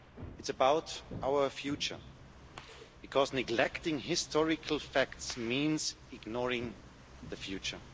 It's about our future, because neglecting historical facts means ignoring the future.